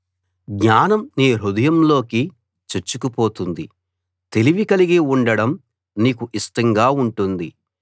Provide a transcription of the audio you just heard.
జ్ఞానం నీ హృదయంలోకి చొచ్చుకుపోతుంది తెలివి కలిగి ఉండడం నీకు ఇష్టంగా ఉంటుంది